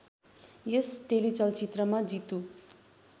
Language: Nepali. यस टेलिचलचित्रमा जितु